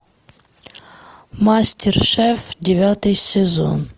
мастер шеф девятый сезон